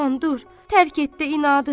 Aman dur! Tərk etdi inadı!